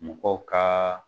Mɔgɔw ka